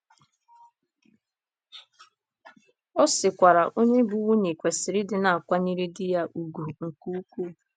Ọ sịkwara: “ Onye bụ́ nwunye kwesịrị ịdị na - akwanyere di ya ùgwù nke ukwuu. ”